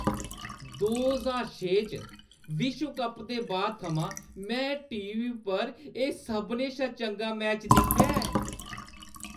दो ज्हार छे च विश्व कप दे बाद थमां मैं टी. वी. पर एह् सभनें शा चंगा मैच दिक्खेआ ऐ।